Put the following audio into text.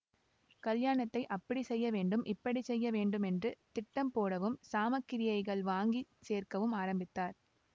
கல்யாணத்தை அப்படி செய்ய வேண்டும் இப்படி செய்ய வேண்டுமென்று திட்டம் போடவும் சாமக்கிரியைகள் வாங்கி சேர்க்கவும் ஆரம்பித்தார்